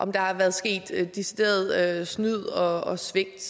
om der er sket decideret og overlagt snyd og svigt